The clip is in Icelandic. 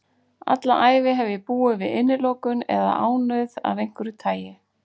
Alla ævi hef ég búið við innilokun eða ánauð af einhverju tagi.